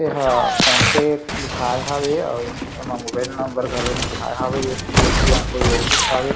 एहा कांटेक्ट लिखाये हावे अउ ए मा मोबाइल नम्बर घलो लिखाए हावे एक ठी ओती अउ कोई ऑफिस हावे।